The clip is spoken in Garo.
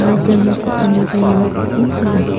light-rangni teng·aniba iano bangen gnang.